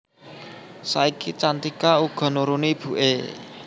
Saiki Cantika uga nuruni ibuké